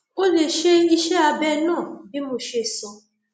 o lè ṣe iṣẹ abẹ náà bí mo ṣe sọ